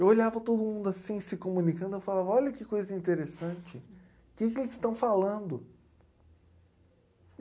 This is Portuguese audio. Eu olhava todo mundo assim, se comunicando, eu falava, olha que coisa interessante, que que eles estão falando?